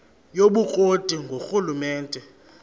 yobukro ti ngurhulumente